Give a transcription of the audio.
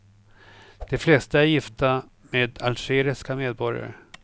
De flesta är gifta med algeriska medborgare.